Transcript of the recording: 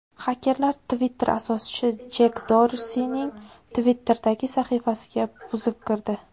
Xakerlar Twitter asoschisi Jek Dorsining Twitter’dagi sahifasiga buzib kirdi.